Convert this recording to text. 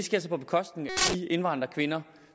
indvandrerkvinder